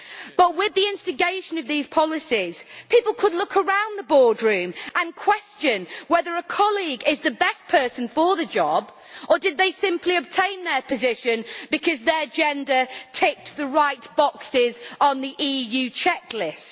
But with the instigation of these policies, people could look around the boardroom and question whether a colleague is the best person for the job, or if they simply obtained their position because their gender ticked the right boxes on the EU checklist.